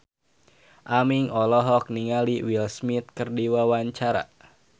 Aming olohok ningali Will Smith keur diwawancara